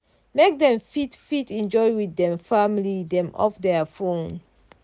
make dem fit fit enjoy with dem family dem off thier phone.